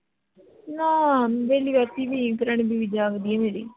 ਨਾ ਵੈਹਲੀ ਬੈਠੀ ਸੀ ਕਿਰਨ ਵੀ ਜਾਗਦੀ ਏ ਮੇਰੀ